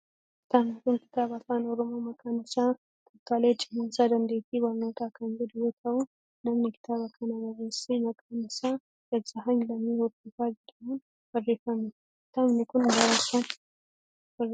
kitaabni kun kitaaba afaan oromoo maqaan isaa tooftaalee cimsannaa dandeettii barnootaa kan jedhu yoo ta'u, namni kitaaba kana barreesse maqaan isaa Gazahaany Lammii Hordofaa jedhamuun barreeffame. kitaabni kun bara kam barreeffame?